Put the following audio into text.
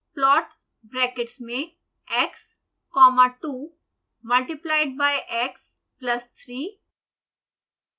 plot brackets में x comma 2 multiplied by x plus 3